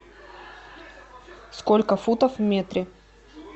сколько футов в метре